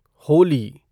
Holi